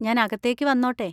ഞാൻ അകത്തേക്ക് വന്നോട്ടെ?